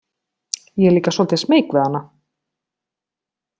Ég er líka svolítið smeyk við hana.